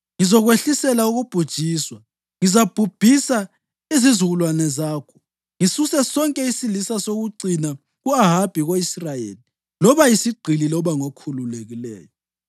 ‘Ngizokwehlisela ukubhujiswa. Ngizabhubhisa izizukulwane zakho ngisuse sonke isilisa sokucina ku-Ahabi ko-Israyeli loba yisigqili loba ngokhululekileyo.